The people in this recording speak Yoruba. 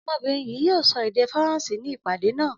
Ọmọbìnrin yìí yóò sọ èdè Faransé ní ìpàdé náà.